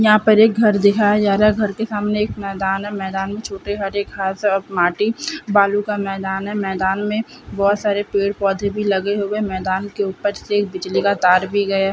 यहाँ पर एक घर दिखाया जा रहा है घर के सामने एक मैदान है मैदान में छोटे हरे घास है और माटी बालू का मैदान है मैदान में बहोत सारे पेड़-पौधे भी लगे हुए मैदान के ऊपर से एक बिजली का तार भी गया --